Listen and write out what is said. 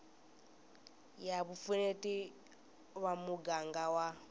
ya vupfuneti va muganga wa